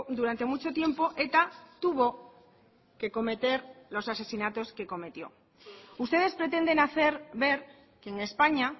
durante mucho tiempo eta tuvo que cometer los asesinatos que cometió ustedes pretenden hacer ver que en españa